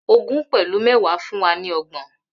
Ogún pẹlu méwàá fún wa ni ọgbọn